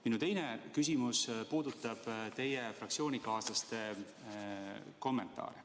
Minu teine küsimus puudutab teie fraktsioonikaaslaste kommentaare.